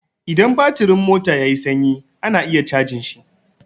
In batirin mota ya yi sanyi ana iya cajin shi.